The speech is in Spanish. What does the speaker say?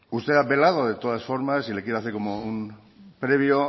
usted ha apelado de todas formas y le quiero hacer como un previo